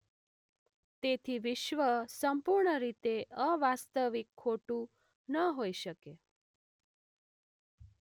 તેથી વિશ્વ સંપૂર્ણ રીતે અવાસ્તવિક ખોટું ન હોય શકે.